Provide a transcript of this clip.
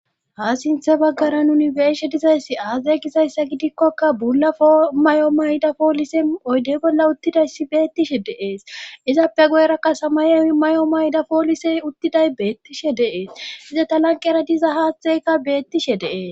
ha sinthe baggara nuni beeshe dizayssi aazay gizayssa gidikkoka bula fomay7o mayda poolise oyde bolla uttidayssi beettishe deees izappe goyrakkasa mayo may7o mayda poolisey uttiday beettishe deees ize ta lanqera diza haaththeyka beettishe dees